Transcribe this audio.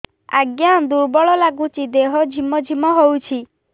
ଆଜ୍ଞା ଦୁର୍ବଳ ଲାଗୁଚି ଦେହ ଝିମଝିମ ହଉଛି